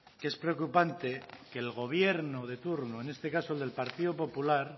que es preocupante que el gobierno de turno en este caso el del partido popular